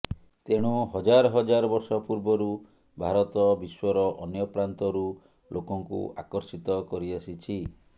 ତେଣୁ ହଜାର ହଜାର ବର୍ଷ ପୂର୍ବରୁ ଭାରତ ବିଶ୍ବର ଅନ୍ୟ ପ୍ରାନ୍ତରୁ ଲୋକଙ୍କୁ ଆକର୍ଷିତ କରି ଆସିଛି